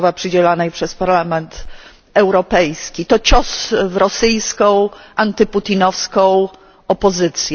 Sacharowa przyznawanej przez Parlament Europejski. To cios w rosyjską, antyputinowską opozycję.